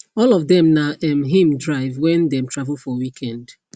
all of them na um him drive when dem travel for weekend